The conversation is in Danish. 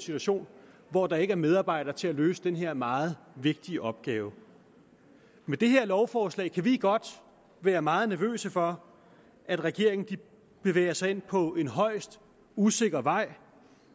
situation hvor der ikke er medarbejdere til at løse den her meget vigtige opgave med det her lovforslag kan vi godt være meget nervøse for at regeringen bevæger sig ind på en højst usikker vej